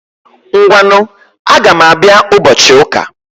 Ngwanu, Agam Abia ubochi uka